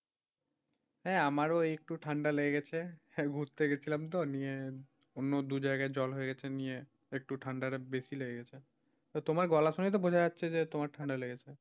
হ্যাঁ আমারও একটু ঠান্ডা লেগে গেছে ঘুরতে গেছিলাম তো নিয়ে অন্য দু জায়গায় জ্বর হয়ে গেছে নিয়ে একটু ঠান্ডাটা বেশি লেগে গেছে তোমার গলা শুনেই তো বোঝা যাচ্ছে যে তোমার ঠান্ডা লেগেছে।